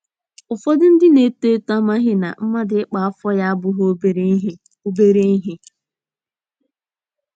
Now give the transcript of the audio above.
Ụfọdụ ndị na - eto eto amaghị na mmadụ ịkpa afọ ya abụghị obere ihe. obere ihe.